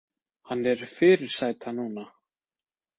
Hann er fyrirsæta núna.